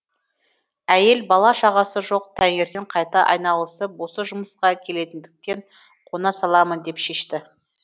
әйел бала шағасы жоқ таңертең қайта айналып осы жұмысқа келетіндіктен қона саламын деп шешті